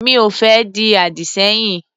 Mi ò fẹ́ di àdì sẹ́yìn.